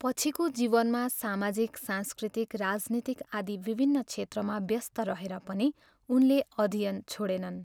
पछिको जीवनमा सामाजिक, सांस्कृतिक, राजनीतिक आदि विभिन्न क्षेत्रमा व्यस्त रहेर पनि उनले अध्ययन छोडेनन्।